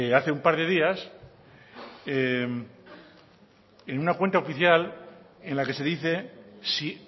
hace un par de días en una cuenta oficial en la que se dice si